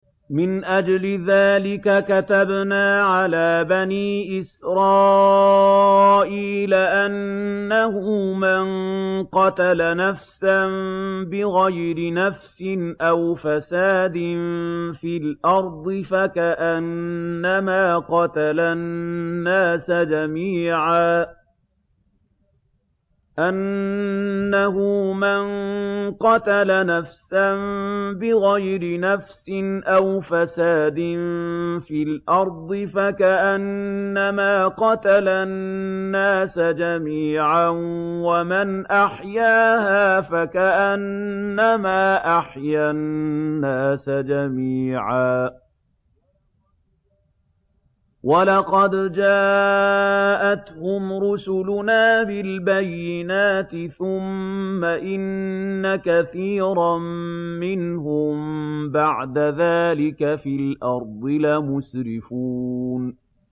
مِنْ أَجْلِ ذَٰلِكَ كَتَبْنَا عَلَىٰ بَنِي إِسْرَائِيلَ أَنَّهُ مَن قَتَلَ نَفْسًا بِغَيْرِ نَفْسٍ أَوْ فَسَادٍ فِي الْأَرْضِ فَكَأَنَّمَا قَتَلَ النَّاسَ جَمِيعًا وَمَنْ أَحْيَاهَا فَكَأَنَّمَا أَحْيَا النَّاسَ جَمِيعًا ۚ وَلَقَدْ جَاءَتْهُمْ رُسُلُنَا بِالْبَيِّنَاتِ ثُمَّ إِنَّ كَثِيرًا مِّنْهُم بَعْدَ ذَٰلِكَ فِي الْأَرْضِ لَمُسْرِفُونَ